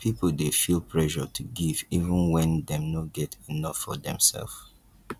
pipo dey feel pressure to give even wen dem no get enough for dem self